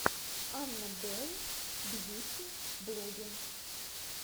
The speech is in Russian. анна белл бьюти блогге